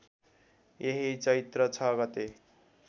यही चैत्र ६ गते